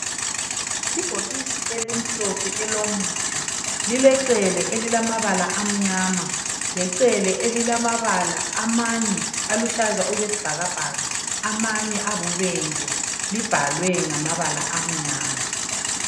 Ibhokisi elimhlophe elomuthi lilecele elilamabala amnyama lecele elilamabala amanye aluhlaza okwesibhakabhaka amanye ayibubende libhalwe ngamabala amnyama